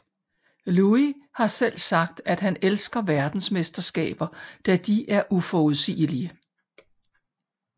Louis har selv sagt at han elsker verdensmesterskaber da de er uforudsigelige